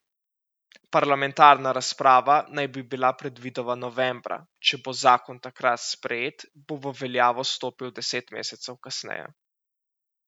Parlamentarna razprava naj bi bila predvidoma novembra, če bo zakon takrat sprejet, bo v veljavo stopil deset mesecev kasneje.